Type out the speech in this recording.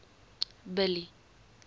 billy